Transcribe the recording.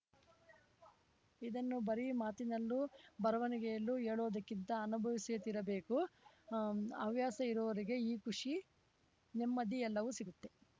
ಇದನ್ನು ಬರೀ ಮಾತಿನಲ್ಲೋ ಬರವಣಿಗೆಯಲ್ಲೋ ಹೇಳೋದಕ್ಕಿಂತ ಅನುಭವಿಸಿಯೇ ತೀರಬೇಕು ಹವ್ಯಾಸ ಇರುವವರಿಗೆ ಈ ಖುಷಿ ನೆಮ್ಮದಿ ಎಲ್ಲವೂ ಸಿಗುತ್ತೆ